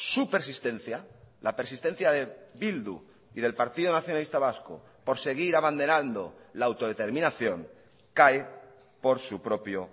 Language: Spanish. su persistencia la persistencia de bildu y del partido nacionalista vasco por seguir abanderando la autodeterminación cae por su propio